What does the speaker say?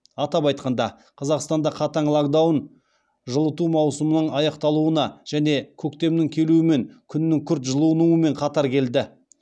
атап айтқанда қазақстанда қатаң локдаун жылыту маусымының аяқталуына және көктемнің келуімен күннің күрт жылынуымен қатар келді